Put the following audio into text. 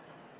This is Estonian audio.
täidetud.